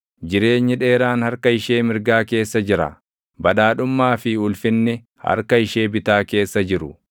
Jireenyi dheeraan harka ishee mirgaa keessa jira; badhaadhummaa fi ulfinni harka ishee bitaa keessa jiru.